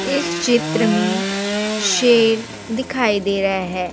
इस चित्र मे शेर दिखाई दे रहा है।